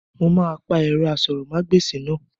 Mo máa pa ẹ̀rọ asọ̀rọ̀mágbèsì náà